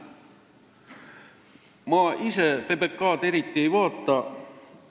Ma ise PBK-d eriti ei vaata, peale ühe saate.